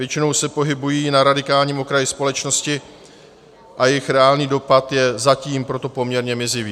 Většinou se pohybují na radikálním okraji společnosti, a jejich reálný dopad je zatím proto poměrně mizivý.